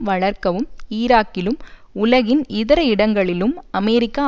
வளர்க்கவும் ஈராக்கிலும் உலகின் இதர இடங்களிலும் அமெரிக்கா